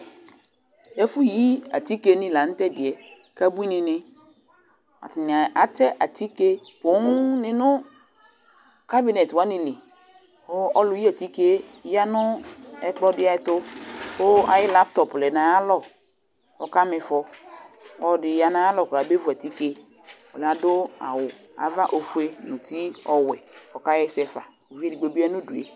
Ɛfʋyi atikenɩ la tʋ ɛdɩ yɛ kʋ abuinɩnɩ, atanɩ atɛ atike poonɩ nʋ kabɩnɛt wanɩ li kʋ ɔlʋyi atike yɛ ya nʋ ɛkplɔ dɩ ɛtʋ kʋ ayʋ laptɔpʋ lɛ nʋ ayalɔ kʋ ɔkama ɩfɔ Ɔlɔdɩ ya nʋ ayalɔ kɔbevu atike Ɔlʋ yɛ adʋ awʋ ava sʋ ofue nʋ uti ɔwɛ kʋ ɔkaɣa ɛsɛ fa Uvi edigbo bɩ ya nʋ udu yɛ